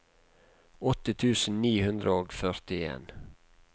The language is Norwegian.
åtte tusen ni hundre og førtien